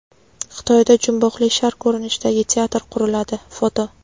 Xitoyda jumboqli shar ko‘rinishidagi teatr quriladi (foto).